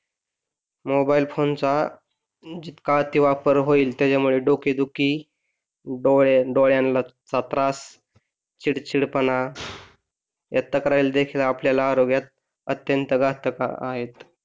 mobile फोनचा जितका अतिवापर होईल त्याच्यामुळे डोकेदुखी डोळे डोळ्यांला चा त्रास चिडचिडपणा या तक्रारी देखील आपल्याला आरोग्यात अत्यंत घातक आहेत